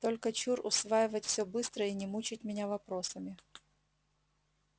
только чур усваивать всё быстро и не мучить меня вопросами